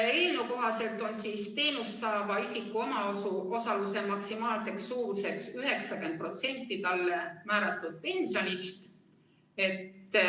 Eelnõu kohaselt on teenust saava isiku omaosaluse maksimaalne suurus 90% talle määratud pensionist.